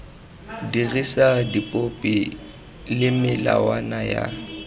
dirisa dipopi le melawana ya